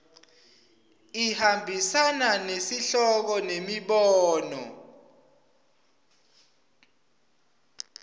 ihambisana nesihloko nemibono